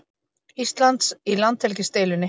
Íslands í landhelgisdeilunni.